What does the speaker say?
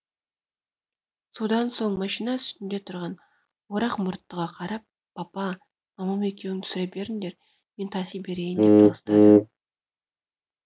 содан соң машина үстінде тұрған орақ мүрттыға қарап папа мамам екеуің түсіре беріңдер мен таси берейін деп дауыстады